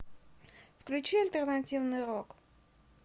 включи альтернативный рок